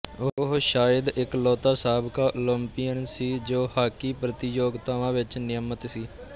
ਉਹ ਸ਼ਾਇਦ ਇਕਲੌਤਾ ਸਾਬਕਾ ਓਲੰਪੀਅਨ ਸੀ ਜੋ ਹਾਕੀ ਪ੍ਰਤੀਯੋਗਤਾਵਾਂ ਵਿੱਚ ਨਿਯਮਤ ਸੀ